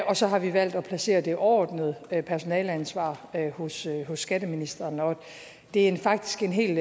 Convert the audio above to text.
og så har vi valgt at placere det overordnede personaleansvar hos skatteministeren det er faktisk en helt